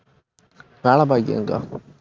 வேலைபாக்குறேன் அக்கா